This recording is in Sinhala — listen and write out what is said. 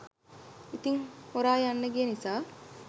ඉතින් හොරා යන්න ගිය නිසා